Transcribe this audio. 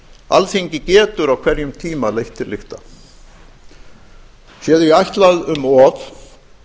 alþingi getur á hverjum tíma leitt til lykta sé því ætlað um of